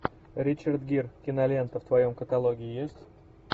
ричард гир кинолента в твоем каталоге есть